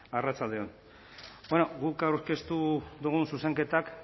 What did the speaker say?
arratsalde on bueno guk aurkeztu dugun zuzenketak